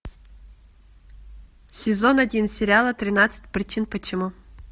сезон один сериала тринадцать причин почему